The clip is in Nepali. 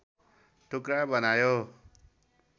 टुक्रा बनायो